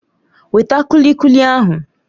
Weta kulikuli ahụ!